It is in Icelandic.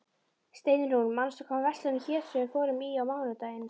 Steinrún, manstu hvað verslunin hét sem við fórum í á mánudaginn?